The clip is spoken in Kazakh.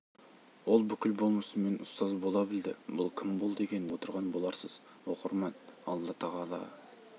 ол бүкіл болмысымен ұстаз бола білді бұл кім болды екен деп отырған боларсыз оқырман алла тағала